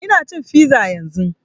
Ina cin fiza yanzun